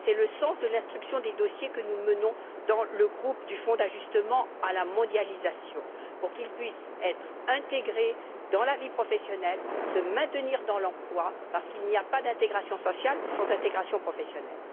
C'est le sens de l'instruction des dossiers que nous menons dans le groupe du Fonds d'ajustement à la mondialisation pour que les travailleurs puissent être intégrés dans la vie professionnelle, se maintenir dans l'emploi, parce qu'il n'y a pas d'intégration sociale sans intégration professionnelle.